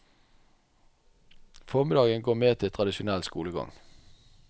Formiddagen går med til tradisjonell skolegang.